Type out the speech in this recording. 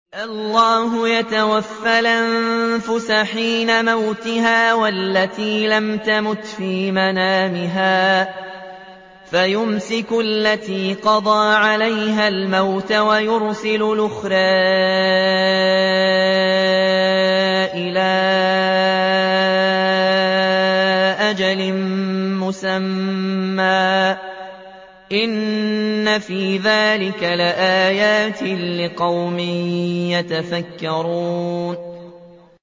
اللَّهُ يَتَوَفَّى الْأَنفُسَ حِينَ مَوْتِهَا وَالَّتِي لَمْ تَمُتْ فِي مَنَامِهَا ۖ فَيُمْسِكُ الَّتِي قَضَىٰ عَلَيْهَا الْمَوْتَ وَيُرْسِلُ الْأُخْرَىٰ إِلَىٰ أَجَلٍ مُّسَمًّى ۚ إِنَّ فِي ذَٰلِكَ لَآيَاتٍ لِّقَوْمٍ يَتَفَكَّرُونَ